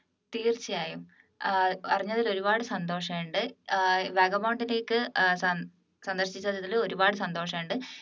തീർച്ചയായും ഏർ അറിഞ്ഞതിൽ ഒരുപാട് സന്തോഷമുണ്ട് വാഗാബോണ്ട്ലേക്ക് സന്ദർശിച്ചതിൽ ഒരുപാട് സന്തോഷമുണ്ട്